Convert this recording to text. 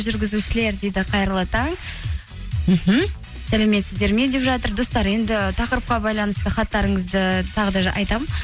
жүргізушілер дейді қайырлы таң мхм сәлеметсіздер ме деп жатыр достар енді тақырыпқа байланысты хаттарыңызды тағы да айтамын